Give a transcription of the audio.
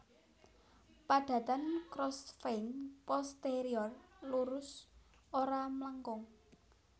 Padatan Crossvein posterior lurus ora mlengkung